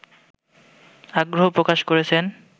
আগ্রহ প্রকাশ করেছেন